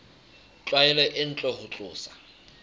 tlwaelo e ntle ho tlosa